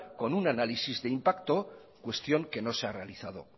con un análisis de impacto cuestión que no se ha realizado